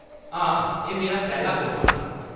हां, एह्‌‌ मेरा पैह्‌‌ला वोट होना।